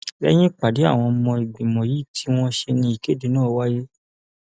lẹyìn ìpàdé àwọn ọmọ ìgbìmọ yìí tí wọn ṣe ní ìkéde náà wáyé